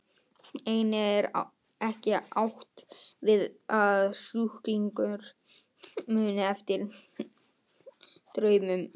Einnig er ekki átt við að sjúklingur muni eftir draumum.